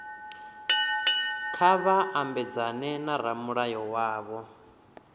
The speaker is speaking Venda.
kha vha mabedzane na ramulayo wavho